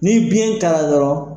Ni biyɛn ta yɔrɔ